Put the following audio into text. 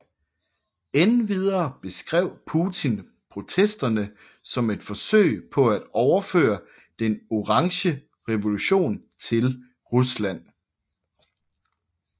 Endvidere beskrev Putin protesterne som et forsøg på at overføre Den Orange Revolution til Rusland